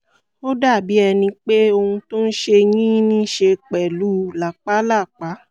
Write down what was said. ó dàbí ẹni pé ohun tó n ṣe yín níí ṣe pẹ̀lú làpálàpá